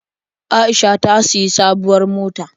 Aisha ta sayi sabuwar mota.